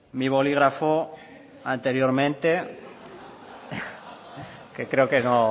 mi bolígrafo anteriormente que creo que no